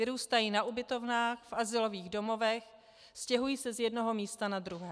Vyrůstají na ubytovnách, v azylových domovech, stěhují se z jednoho místa na druhé.